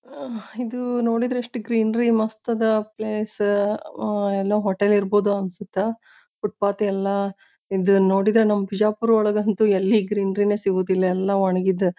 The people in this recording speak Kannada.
ಅಹ್ ಇದು ನೋಡಿದ್ರ ಗ್ರೀನರಿ ಮಸ್ತ್ ಅದ ಪ್ಲೇಸ್ . ಅಹ ಏಲೋ ಹೋಟೆಲ್ ಇರಬೋದ್ ಅನ್ಸುತ್ತ. ಫೂಟ್ಪಾಥ್ ಎಲ್ಲ ಇದ ನೋಡಿದ್ರ ನಮ್ ಬಿಜಾಪೂರ ಒಳಗ ಅಂತು ಎಲ್ಲಿ ಗ್ರೀನರಿನೇ ಸಿಗುದಿಲ್ಲ ಎಲ್ಲ ಒಣಗಿದ--